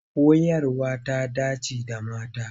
Koyarwa ta dance da mata.